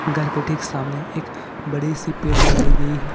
घर के ठीक सामने एक बड़ी सी पेड़ लगायी गई है।